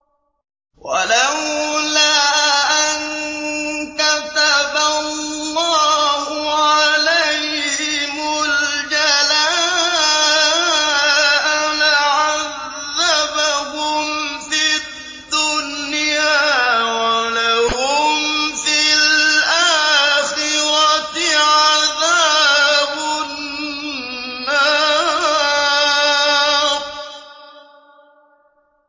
وَلَوْلَا أَن كَتَبَ اللَّهُ عَلَيْهِمُ الْجَلَاءَ لَعَذَّبَهُمْ فِي الدُّنْيَا ۖ وَلَهُمْ فِي الْآخِرَةِ عَذَابُ النَّارِ